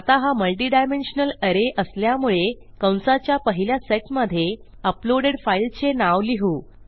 आता हा मल्टिडायमेन्शनल arrayअसल्यामुळे कंसाच्या पहिल्या सेटमधे अपलोडेड फाईलचे नाव लिहू